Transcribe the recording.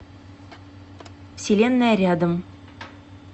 вселенная рядом